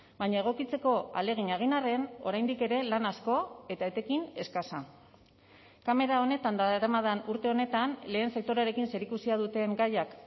baina egokitzeko ahalegina egin arren oraindik ere lan asko eta etekin eskasa kamera honetan daramadan urte honetan lehen sektorearekin zerikusia duten gaiak